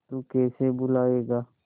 तू कैसे भूलाएगा